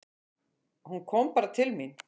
Hún kom bara til mín.